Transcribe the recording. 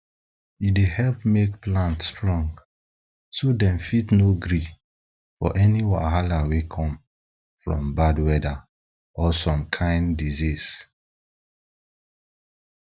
e dey help make plant strong so dem fit no gree for any wahala wey come from bad weather or some kain diseases